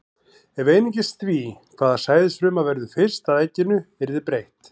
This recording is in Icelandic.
Ef einungis því, hvaða sæðisfruma verður fyrst að egginu, yrði breytt.